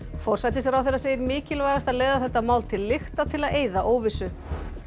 forsætisráðherra segir mikilvægast að leiða þetta mál til lykta til að eyða óvissu